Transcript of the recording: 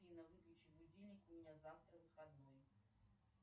афина выключи будильник у меня завтра выходной